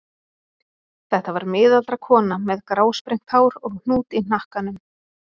Þetta var miðaldra kona með grásprengt hár og hnút í hnakkanum.